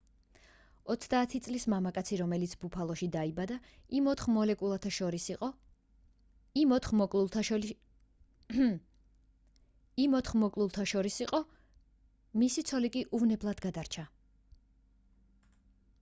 30 წლის მამაკაცი რომელიც ბუფალოში დაიბადა იმ ოთხ მოკლულთა შორის იყო მისი ცოლი კი უვნებლად გადარჩა